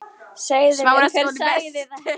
Segðu mér hver sagði þér þetta.